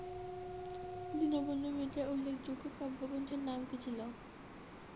দীনবন্ধু মিত্রের উল্লেখযোগ্য কাব্য গ্রন্থের নাম কী ছিল?